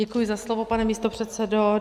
Děkuji za slovo, pane místopředsedo.